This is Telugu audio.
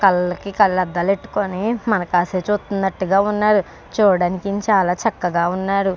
కళ్లకి కళ్ల అద్దాలు ఎట్టుకొని మన కాసే చూస్తూన్నట్టుగా ఉన్నాడు చూడటానికి ఈయన చాల చక్కగా వున్నాడు.